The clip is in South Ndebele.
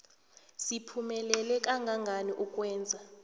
siphumelela kangangani ukwenza